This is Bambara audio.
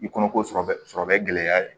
I kɔnɔ ko sɔrɔbɛ sɔrɔbɛ gɛlɛya de